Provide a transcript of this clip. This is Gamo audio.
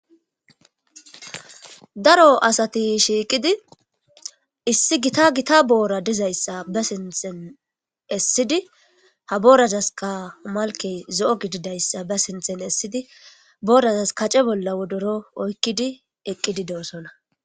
Daro asati shiiqidi issi gita gita boora dizayssa ba sinten essidi ha borazas ka malkey zo7o gididayssa ba sinten essidi boorazas kace bolla wodoro oykkidi eqqidi doosona